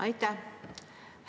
Aitäh!